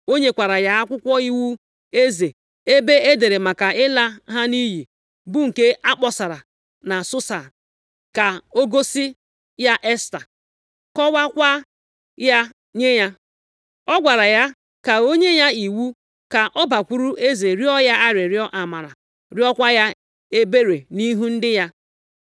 O nyekwara ya akwụkwọ iwu eze ebe e dere maka ịla ha nʼiyi, bụ nke akpọsara na Susa, ka o gosi ya Esta, kọwaakwa ya nye ya. Ọ gwara ya ka o nye ya iwu ka ọ bakwuru eze rịọ ya arịrịọ amara, rịọkwa ya ebere nʼihi ndị ya.